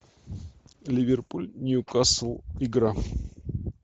ливерпуль ньюкасл игра